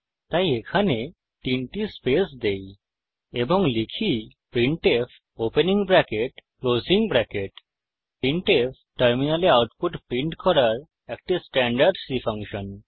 তাই এখানে তিনটি স্পেস দেই এবং লিখি printf opening bracket closing bracket printf টার্মিনালে আউটপুট প্রিন্ট করার একটি স্ট্যান্ডার্ড C ফাংশন